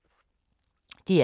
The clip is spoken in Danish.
DR K